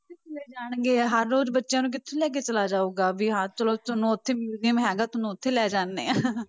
ਜਾਣਗੇ ਹਰ ਰੋਜ਼ ਬੱਚਿਆਂ ਨੂੰ ਕਿੱਥੇ ਲੈ ਕੇ ਚਲਾ ਜਾਊਗਾ ਵੀ ਹਾਂ ਚਲੋ ਤੁਹਾਨੂੰ ਉੱਥੇ museum ਹੈਗਾ ਤੁਹਾਨੂੰ ਉੱਥੇ ਲੈ ਜਾਂਦੇ ਹਾਂ